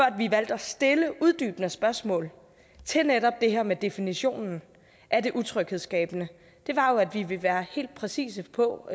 at vi valgte at stille uddybende spørgsmål til netop det her med definitionen af det utryghedsskabende var jo at vi ville være helt præcise på